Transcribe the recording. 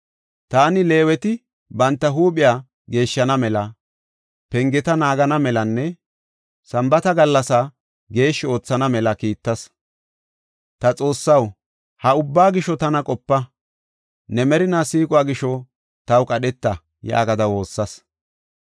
Taani Leeweti banta huuphiya geeshshana mela, pengeta naagana melanne Sambaata gallasaa geeshshi oothana mela kiittas. “Ta Xoossaw, ha ubbaa gisho tana qopa; ne merinaa siiquwa gisho taw qadheta” yaagada woossas.